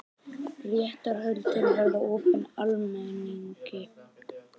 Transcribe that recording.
Réttarhöldin verða opin almenningi